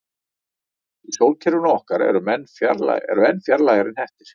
Í sólkerfinu okkar eru enn fjarlægari hnettir.